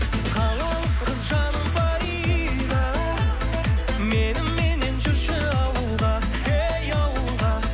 қалалық қыз жаным фарида меніменен жүрші ауылға ей ауылға